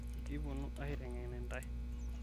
ekiponu aitengen intai